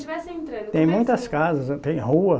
tivesse entrando. Tem muitas casas, tem rua